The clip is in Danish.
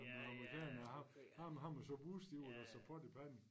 Med amerikanere ham ham ham og så Bush de var da som pot i pande